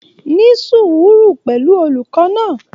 Ní sùùúrù pẹ̀lú olùkọ́ náà.